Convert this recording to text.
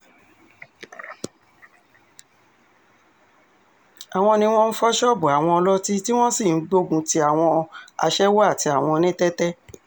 àwọn ni wọ́n ń fọ́ ṣọ́ọ̀bù àwọn ọlọ́tí tí wọ́n sì ń gbógun ti àwọn aṣẹ́wó àti àwọn onítẹ́tẹ́